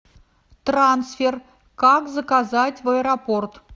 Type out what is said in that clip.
трансфер как заказать в аэропорт